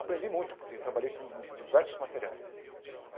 Aprendi muito, porque trabalhei com diversos materiais.